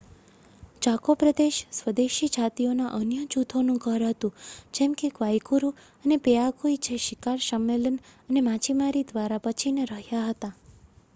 Chaco પ્રદેશ સ્વદેશી જાતિઓના અન્ય જૂથોનું ઘર હતું જેમ કે ગ્વાઇકુરૂ અને પેઆગુઇ જે શિકાર સંમેલન અને માછીમારી દ્વારા બચીને રહ્યા હતા